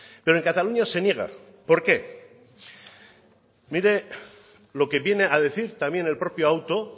pero en cataluña se niega por qué mire lo que viene a decir también el propio auto